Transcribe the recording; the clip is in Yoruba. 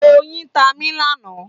Oyin tá mí lánàá.